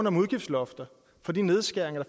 om udgiftslofter og de nedskæringer